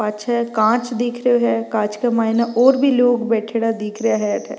पछै काँच दिख रो है काँच के मायने और भी लोग बैठेडा दिख रा है अठ।